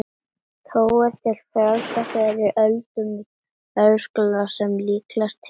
Þó eru til frásagnir frá fyrri öldum um veðurskaða sem líklega tengist hvirfilbyljum.